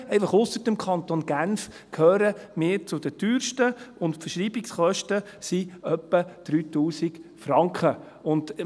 – Einfach, dass wir zu den Teuersten gehören, der Kanton Genf ausgenommen, und die Verschreibungskosten sind etwa 3000 Franken.